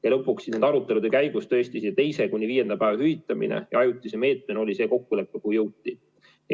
Ja lõpuks nende arutelude käigus see teisest kuni viienda päeva hüvitamine ajutise meetmena kokku lepiti.